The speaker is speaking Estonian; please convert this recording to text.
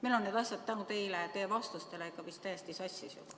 Meil on need asjad tänu teie vastustele ikka vist täiesti sassis juba.